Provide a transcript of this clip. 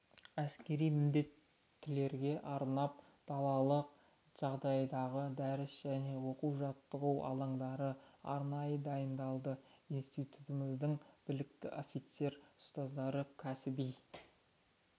әскери міндеттілерге арнап далалық жағдайдағы дәріс және оқу-жаттығу алаңдары арнайы дайындалды институтымыздың білікті офицер-ұстаздары кәсіби